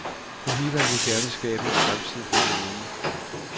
Politikerne vil gerne skabe en fremtid for de unge.